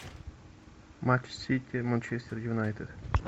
матч сити манчестер юнайтед